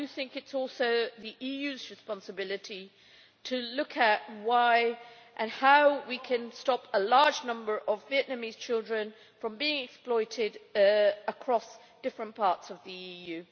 It is also the EU's responsibility to look at why and how we can stop a large number of Vietnamese children from being exploited across different parts of the EU.